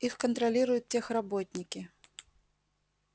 их контролируют техработники